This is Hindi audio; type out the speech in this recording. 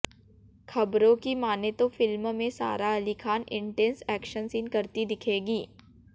खबरों की मानें तो फिल्म में Sara Ali Khan intense action scene करती दिखेंगी